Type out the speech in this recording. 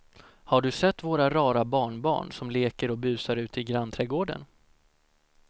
Har du sett våra rara barnbarn som leker och busar ute i grannträdgården!